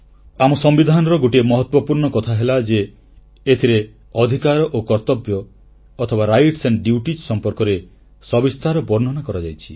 ଆମ ସମ୍ବିଧାନର ଗୋଟିଏ ମହତ୍ୱପୂର୍ଣ୍ଣ କଥାହେଲା ଯେ ଏଥିରୁ ଅଧିକାର ଓ କର୍ତ୍ତବ୍ୟ ସମ୍ପର୍କରେ ସବିସ୍ତାର ବର୍ଣ୍ଣନା କରାଯାଇଛି